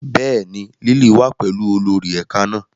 Bẹ́ẹ̀ni, Lily wa pẹlu olori ẹka náa